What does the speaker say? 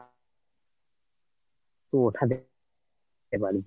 তুই ওঠাতে পারবি